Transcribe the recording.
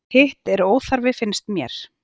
Hitt er óþarfi finnst mér.